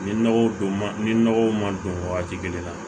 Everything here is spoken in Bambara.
Ni nɔgɔw don man ni nɔgɔw ma don wagati kelen na